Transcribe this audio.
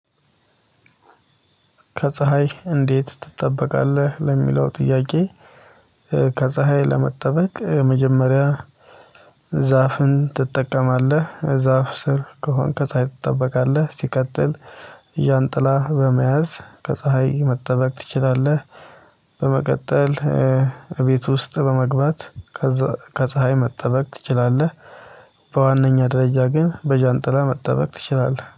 ከፀሀይ እንዴት ትጠበቃለህ? ለሚለው ጥያቄ ከፀሀይ ለመጠበቅ መጀመሪያ ዛፍን ትጠቀማለህ ዛፍ ስር ከሆንክ ከፀሀይ ትጠበቃለህ ሲቀጥል ያን ጥላ በመያዝ ከፀሀይ መጠበቅ ትችላለህ በመቀጠል እቤት ውስጥ በመግባት ከፀሀይ መጠበቅ ትችላለህ በዋነኛ ደረጃ ግን በጃንጥላ መጠበቅ ትችላለህ